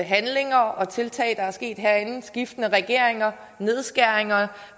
handlinger og tiltag der er sket herinde skiftende regeringer nedskæringer